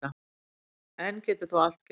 Enn getur þó allt gerst